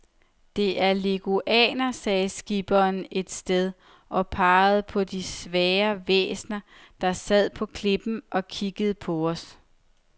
Der er leguaner, sagde skipperen et sted og pegede på de sære væsener, der sad på klippen og kiggede på os.